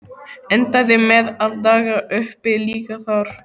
Endaði með að daga uppi líka þar.